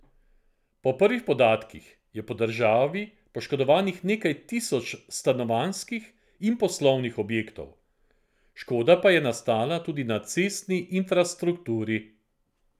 Po prvih podatkih je po državi poškodovanih nekaj tisoč stanovanjskih in poslovnih objektov, škoda pa je nastala tudi na cestni infrastrukturi.